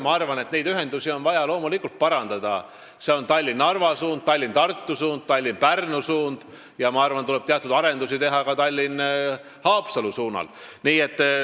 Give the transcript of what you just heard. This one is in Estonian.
Ma arvan, et neid ühendusi on vaja loomulikult parandada, ma pean silmas Tallinna–Narva suunda, Tallinna–Tartu suunda ja Tallinna–Pärnu suunda, ja arvan, et teatud arendusi tuleb teha ka Tallinna–Haapsalu suunal.